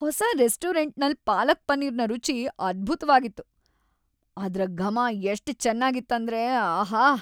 ಹೊಸ ರೆಸ್ಟೋರೆಂಟ್ ನಲ್ ಪಾಲಕ್ ಪನೀರ್ನ ರುಚಿ ಅದ್ಬುತವಾಗಿತ್. ಅದ್ರ ಗಮ ಎಷ್ಟ್ ಚೆನ್ನಾಗಿತ್ ಅಂದ್ರೆ ಆಹಾ...